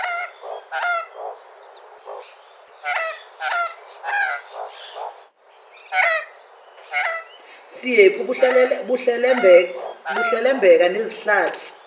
siyephu buhlelembeka nezihlathi